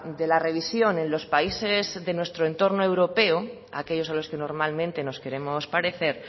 de la revisión en los países de nuestro entorno europeo aquellos a los que normalmente nos queremos parecer